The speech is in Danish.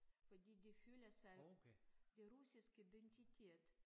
Fordi de føler sig det russisk identitet